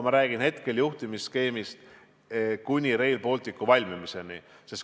Ma räägin hetkel juhtimisskeemist, mis kehtiks kuni Rail Balticu valmimiseni.